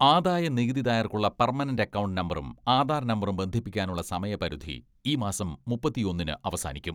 ആദായ നികുതിദായകർക്കുള്ള permanent account നമ്പറും ആധാർ നമ്പറും ബന്ധിപ്പിക്കാനുള്ള സമയപരിധി ഈ മാസം മുപ്പത്തിയൊന്നിന് അവസാനിക്കും.